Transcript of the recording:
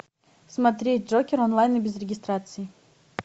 смотреть джокер онлайн и без регистрации